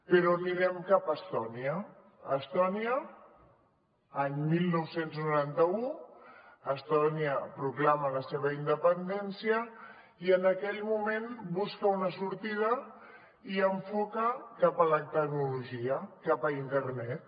però anirem cap a estònia a estònia any dinou noranta u estònia proclama la seva independència i en aquell moment busca una sortida i enfoca cap a la tecnologia cap a internet